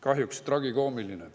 Kahjuks tragikoomiline.